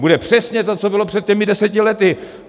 Bude přesně to, co bylo před těmi deseti lety.